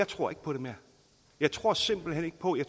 tror på det jeg tror simpelt hen ikke på det